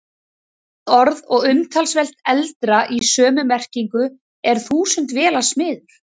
Annað orð og talsvert eldra í sömu merkingu er þúsundvélasmiður.